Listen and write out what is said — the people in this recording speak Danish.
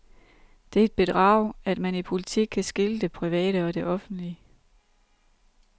Det er et bedrag, at man i politik kan skille det private og offentlige.